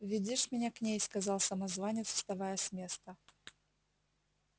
веди ж меня к ней сказал самозванец вставая с места